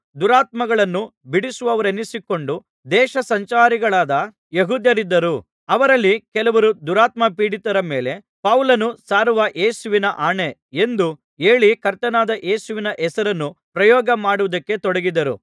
ದುರಾತ್ಮಗಳನ್ನೂ ಬಿಡಿಸುವವರೆನಿಸಿಕೊಂಡು ದೇಶಸಂಚಾರಿಗಳಾದ ಯೆಹೂದ್ಯರಿದ್ದರು ಅವರಲ್ಲಿ ಕೆಲವರು ದುರಾತ್ಮ ಪೀಡಿತರ ಮೇಲೆ ಪೌಲನು ಸಾರುವ ಯೇಸುವಿನ ಆಣೆ ಎಂದು ಹೇಳಿ ಕರ್ತನಾದ ಯೇಸುವಿನ ಹೆಸರನ್ನು ಪ್ರಯೋಗಮಾಡುವುದಕ್ಕೆ ತೊಡಗಿದರು